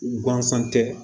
Gansan tɛ